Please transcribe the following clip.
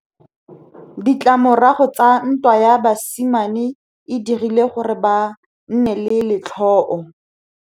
Ditlamorago tsa ntwa ya basimane e dirile gore ba nne le letlhôô.